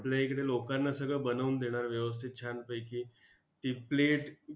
आपल्या इकडे लोकांना सगळं बनवून देणार व्यवस्थित छानपैकी! ती plate